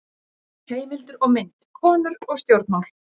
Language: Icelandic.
Heimildir og mynd: Konur og stjórnmál.